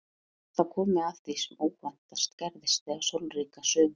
Og er þá komið að því sem óvæntast gerðist þetta sólríka sumar.